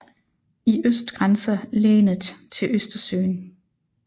I øst grænser länet til Østersøen